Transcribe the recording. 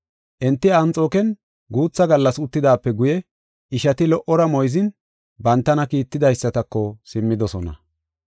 Enti Anxooken guutha gallas uttidaape guye ishati lo77ora moyzin bantana kiitidaysatako simmidosona.